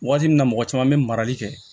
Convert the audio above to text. Waati min na mɔgɔ caman bɛ marali kɛ